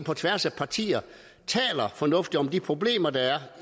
på tværs af partier taler fornuftigt om de problemer der er